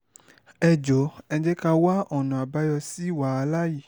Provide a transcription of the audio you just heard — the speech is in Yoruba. ẹ jọ̀ọ́ ẹ jẹ́ ká a wá ọ̀nà àbáyọ sí wàhálà yìí